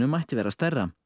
mætti vera stærra